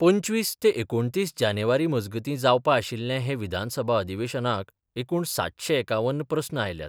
पंचवीस ते एकुणतीस जानेर मजगतीं जावपा आशिल्ले हे विधानसभा अधिवेशनाक एकूण सातशें एकावन्न प्रस्न आयल्यात.